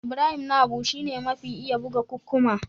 Ibrahim Na Habu shi ne mafi iya buga kukkuma.